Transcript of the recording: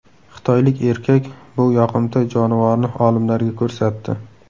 Xitoylik erkak bu yoqimtoy jonivorni olimlarga ko‘rsatdi.